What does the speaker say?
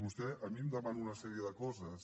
vostè a mi em demana una sèrie de coses